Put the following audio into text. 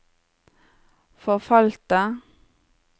forfalte